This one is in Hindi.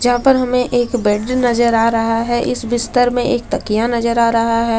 जहां पर हमें एक बेड नजर आ रहा है इस बिस्तर में एक तकिया नजर आ रहा है।